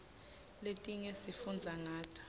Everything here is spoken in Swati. letinye sifundza ngato